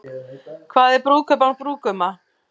Hvað er brúðkaup án brúðguma?